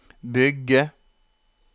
bygge